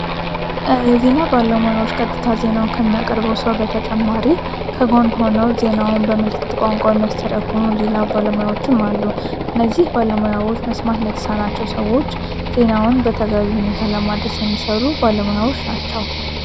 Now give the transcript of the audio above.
የዜና ባለሞያዎች ቀጥታ ዜናውን ከሚያቀርበው ሰው በተጨማሪ ከጎን ሆነው ዜናውን በምልክት ቋንቋው የሚያስተረግሙ ሌላ ባለሙያዎችን አሉ እነዚህ ባለሞያዎች መስማት ለተሳናቸው ሰዎች ዜናውን በተገቢ ሁኔታ ለማድረስ የሚሰሩ ባለሞያዎች ናቸው፡፡